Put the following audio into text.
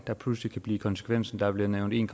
der pludselig kan blive konsekvensen der er blevet nævnt en